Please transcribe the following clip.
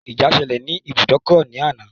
Ìjà ṣelẹ̀ ní ìbùdókọ̀ ní àná.